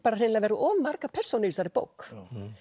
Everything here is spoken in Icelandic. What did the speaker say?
hreinlega verið of margar persónur í þessari bók